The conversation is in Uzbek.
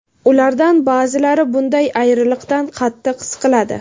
Ulardan ba’zilari bunday ayriliqdan qattiq siqiladi.